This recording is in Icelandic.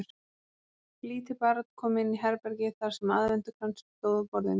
Lítið barn kom inn í herbergið þar sem aðventukransinn stóð á borðinu.